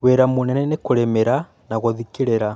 Wĩra mũnene nĩkũrĩmĩra na gũthikĩrĩra